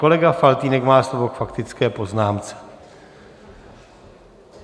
Kolega Faltýnek má slovo k faktické poznámce.